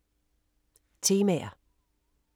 Temaer